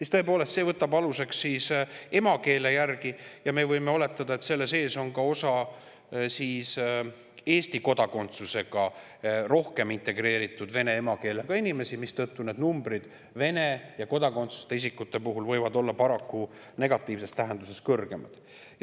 See on võtnud aluseks emakeele ja me võime oletada, et on osa Eesti kodakondsusega, rohkem integreeritud vene emakeelega inimesi, mistõttu need numbrid Vene ja kodakondsuseta isikute puhul võivad olla paraku negatiivses tähenduses kõrgemad.